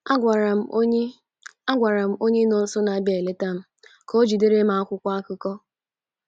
Agwara m onye Agwara m onye nọọsụ na - abịa eleta m ka o jidere m akwụkwọ akụkọ.